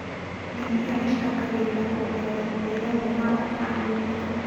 Ndania icangagĩra kuongerera mũrĩre mwega wa bamĩrĩ